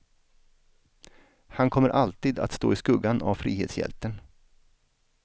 Han kommer alltid att stå i skuggan av frihetshjälten.